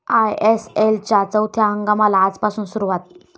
आयएसएलच्या चौथ्या हंगामाला आजपासून सुरुवात